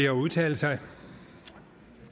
at udtale sig